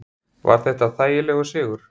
Var þetta þægilegur sigur?